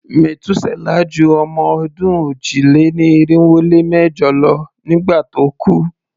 Metuselah ju ọmọ-ọdún òjì-lé-ní-irinwó-lé-mẹ́jọ lọ nígbà tó kú.